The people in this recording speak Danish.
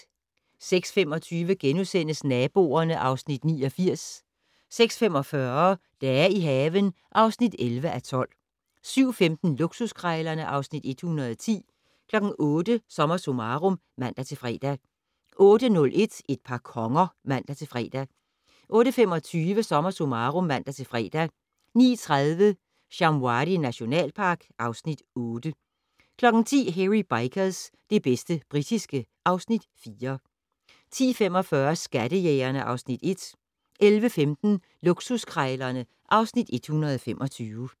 06:25: Naboerne (Afs. 89)* 06:45: Dage i haven (11:12) 07:15: Luksuskrejlerne (Afs. 110) 08:00: SommerSummarum (man-fre) 08:01: Et par konger (man-fre) 08:25: SommerSummarum (man-fre) 09:30: Shamwari nationalpark (Afs. 8) 10:00: Hairy Bikers - det bedste britiske (Afs. 4) 10:45: Skattejægerne (Afs. 1) 11:15: Luksuskrejlerne (Afs. 125)